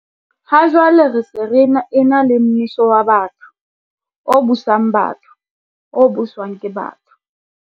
Ha jwale re se re ena le mmuso wa batho, o busang batho, o buswang ke batho.